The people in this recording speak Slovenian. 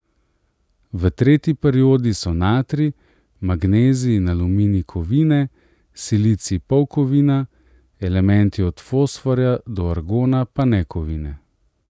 V tretji periodi so natrij, magnezij in aluminij kovine, silicij polkovina, elementi od fosforja do argona pa nekovine.